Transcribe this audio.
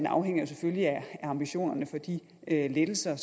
afhænger selvfølgelig af ambitionerne for de lettelser